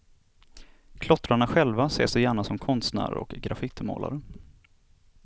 Klottrarna själva ser sig gärna som konstnärer och graffitimålare.